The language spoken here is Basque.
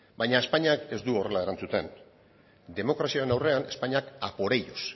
baina espainiak ez du horrela erantzuten demokraziaren aurrean espainiak a por ellos